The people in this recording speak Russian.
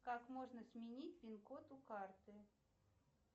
как можно сменить пинкод у карты